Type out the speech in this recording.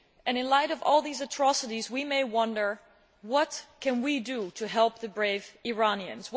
In light of all these atrocities, we may wonder what we can do to help the brave Iranians.